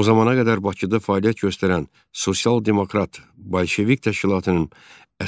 O zamana qədər Bakıda fəaliyyət göstərən sosial-demokrat Bolşevik təşkilatının